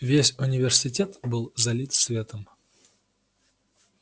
весь университет был залит светом